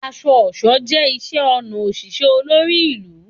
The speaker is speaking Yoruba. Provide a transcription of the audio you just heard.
Aṣọ-ọṣọ jẹ iṣẹ-ọnà oṣiṣẹ olori ilu